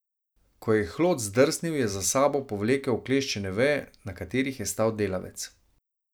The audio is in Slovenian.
Ko je hlod zdrsnil, je za seboj povlekel okleščene veje, na katerih je stal delavec.